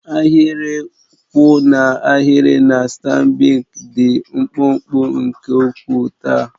Ahịrị kwụ n'ahịrị na Stanbic IBTC dị mkpụmkpụ nke ukwuu taa.